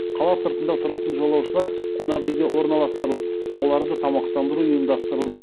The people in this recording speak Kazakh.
қала сыртында тұратын жолаушылар қонақ үйге орналастырылып оларды тамақтандыру ұйымдастырылды